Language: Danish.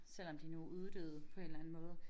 Selvom de nu uddøde på en eller anden måde